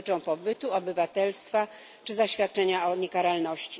dotyczą pobytu, obywatelstwa czy zaświadczenia o niekaralności.